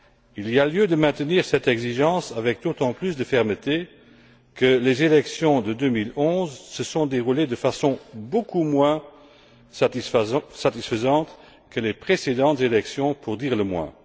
Il y a lieu de maintenir cette exigence avec d'autant plus de fermeté que les élections de 2011 se sont déroulées de façon beaucoup moins satisfaisantes que les précédentes élections, pour dire le moins.